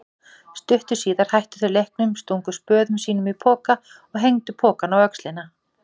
Stuttu síðar hættu þau leiknum, stungu spöðum sínum í poka og hengdu pokann á öxlina.